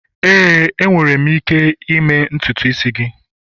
Éè, m nwere ike plait ntutu.